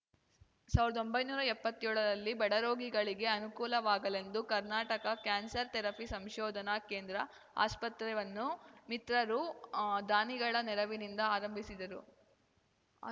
ಸಾವಿರ್ದಾ ಒಂಬೈನೂರ ಎಪ್ಪತ್ಯೋಳರಲ್ಲಿ ಬಡರೋಗಿಗಳಿಗೆ ಅನುಕೂಲವಾಗಲೆಂದು ಕರ್ನಾಟಕ ಕ್ಯಾನ್ಸರ್ ಥೆರಪಿ ಸಂಶೋಧನಾ ಕೇಂದ್ರ ಆಸ್ಪತ್ರೆವನ್ನು ಮಿತ್ರರು ದಾನಿಗಳ ನೆರವಿನಿಂದ ಆರಂಭಿಸಿದರು